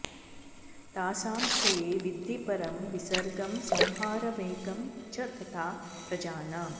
तासां क्षये विद्धि परं विसर्गं संहारमेकं च तथा प्रजानाम्